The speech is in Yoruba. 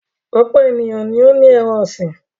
Ọ̀pọ̀ ènìyàn ni ó ní ẹran-ọ̀sìn.